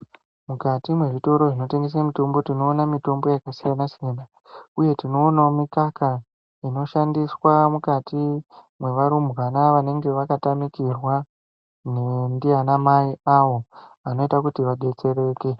Mukati mezvitoro zvinotengesa mitombo tinona yakasiyana siyana uye tinoonawo mukaka inoshandiswa mukati mweva rumbwana vanenge vakatamikirwa ndiana mai avo anoita kuti vadetsereke.